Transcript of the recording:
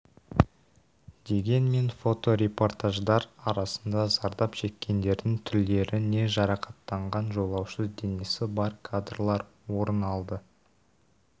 дегенмен фоторепортаждар арасында зардап шеккендердің түрлері не жарақаттанған жолаушы денесі бар кадрлар орын алды